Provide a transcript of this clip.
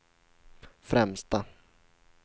främsta